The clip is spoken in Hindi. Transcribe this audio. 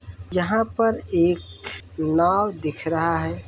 यहाँ पर एक नाव दिख रहा है।